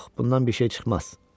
Yox, bundan bir şey çıxmaz.